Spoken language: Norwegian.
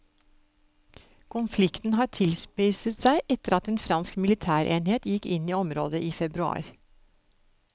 Konflikten har tilspisset seg etter at en fransk militærenhet gikk inn i området i februar.